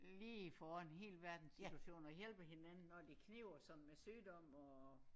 Lige får ordnet hele verdenssituationen og hjælper hinanden når det kniber og sådan med sygdom og